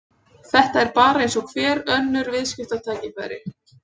Þetta er bara eins og önnur viðskiptatækifæri.